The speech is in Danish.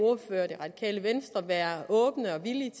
vil venstre være åbne for og villige